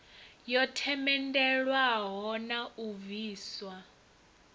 yo themendelwaho na u bviswa